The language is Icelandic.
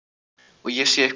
Og ég sé eitthvað nýtt.